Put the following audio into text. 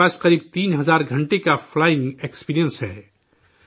ان کے پاس تقریباً 3 ہزار گھنٹے کا فلائنگ ایکسپیرئنس ہے